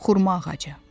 Xurma ağacı.